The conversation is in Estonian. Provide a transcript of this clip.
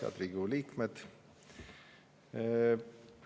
Head Riigikogu liikmed!